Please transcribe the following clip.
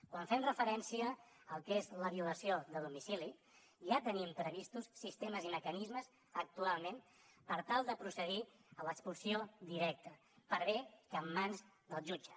quan fem referència al que és la violació de domicili ja tenim previstos sistemes i mecanismes actualment per tal de procedir a l’expulsió directa per bé que en mans del jutge